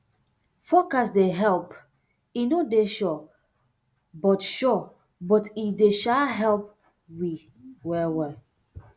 forecast dey help e no dey sure but sure but e dey um help um well well